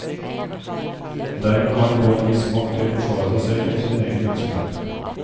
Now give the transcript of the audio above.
Dermed kan en få en viss makt til å forsvare seg selv og sin egen virksomhet.